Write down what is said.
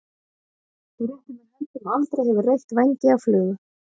Þú réttir mér hönd sem aldrei hefur reytt vængi af flugu.